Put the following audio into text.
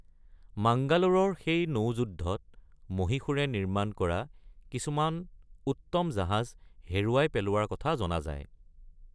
মাংগালোৰৰ সেই নৌ-যুদ্ধত মহীশূৰে নিৰ্মাণ কৰা কিছুমান উত্তম জাহাজ হেৰুৱাই পেলোৱাৰ কথা জনা যায়।